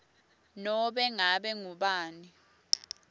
nobe ngabe ngubani